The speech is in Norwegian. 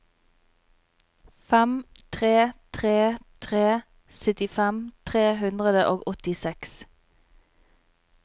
fem tre tre tre syttifem tre hundre og åttiseks